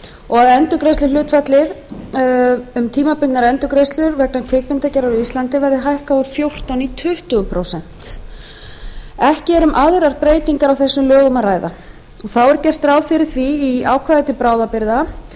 og að endurgreiðsluhlutfallið um tímabundnar endurgreiðslur vegna kvikmyndagerðar á íslandi verði hækkað úr fjórtán prósent í tuttugu prósent ekki er um aðrar breytingar á þessum lögum að ræða þá er gert ráð fyrir í ákvæði til bráðabirgða